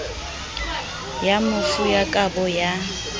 ya mofu ya kabo ya